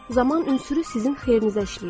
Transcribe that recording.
Zaman ünsürü sizin xeyrinizə işləyir.